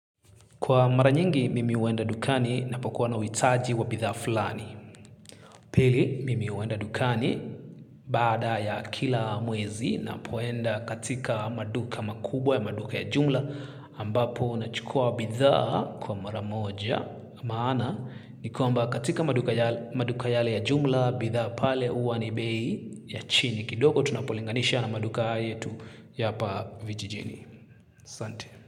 Kwa mara nyingi, mimi huenda dukani napokuwa na uhitaji wa bidhaa fulani. Pili, mimi huenda dukani baada ya kila mwezi napoenda katika maduka makubwa ya maduka ya jumla ambapo nachukua bidhaa kwa mara moja. Maana, ni kwamba katika maduka yale ya jumla, bidhaa pale huwa ni bei ya chini. Kidogo, tunapolinganisha na maduka yetu ya hapa vijijini. Asante.